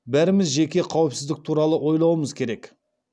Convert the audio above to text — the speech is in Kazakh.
бәріміз жеке қауіпсіздік туралы ойлауымыз керек